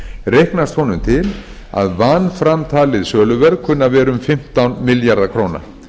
reiknast honum til að vanframtalið söluverð kunni að vera um fimmtán milljarðar króna